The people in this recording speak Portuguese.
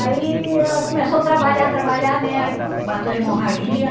Aí ela começou a trabalhar trabalhar né, aí pronto, bateu hemorragia.